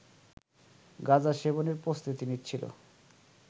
গাঁজা সেবনের প্রস্তুতি নিচ্ছিল